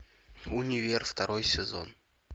универ второй сезон